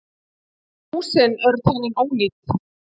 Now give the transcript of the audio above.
Húsin eru talin ónýt